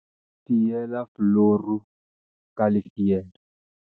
fiela fuluru ka lefielo